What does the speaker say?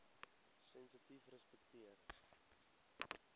sensitiefrespekteer